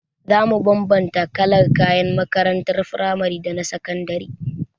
Za mu bambanta kalar kayan makarantar frimari daga na sakandare.